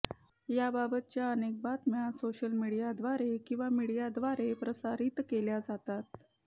याबाबतच्या अनेक बातम्या सोशलमीडियाद्वारे किंवा मीडियाद्वारे प्रसारित केल्या जातात